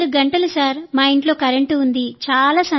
24 గంటలు సార్ మా ఇంట్లో కరెంటు ఉంది